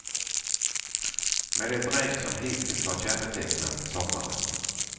Med det regn som hittills har kännetecknat sommaren.